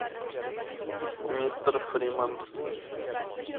мистер фримен